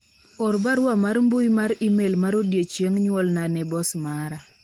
or barua mar mbui mar email mar odiochieng nyuolna ne bos mara